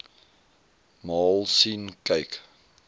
maal sien kyk